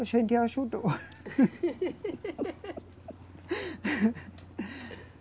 A gente ajudou.